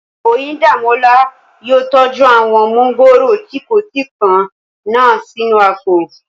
Oyíndàmọ́lá yóò tọ́jú àwọn mọ́ngòrò tí kò tí pọ́n náà sínú àpò